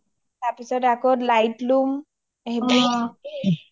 তাৰ পিছত আকৈ লাইটলাম সেইবিলাক